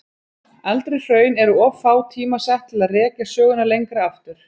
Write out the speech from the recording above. Eldri hraun eru of fá tímasett til að rekja söguna lengra aftur.